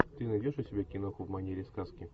ты найдешь у себя киноху в манере сказки